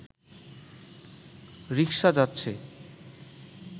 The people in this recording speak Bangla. রিকশা যাচ্ছে